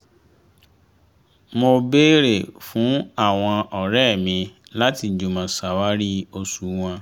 mo béèrè fún àwọn ọ̀rẹ́ mi láti jùmọ̀ ṣàwárí òṣùwọ̀n